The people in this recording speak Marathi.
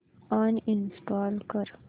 अनइंस्टॉल कर